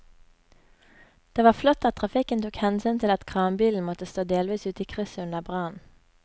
Det var flott at trafikken tok hensyn til at kranbilen måtte stå delvis ute i krysset under brannen.